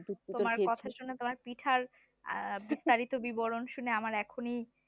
তোমার কথা শুনে তোমার পিঠার আহ বিস্তারিত বিবরণ শুনে আমার এখনই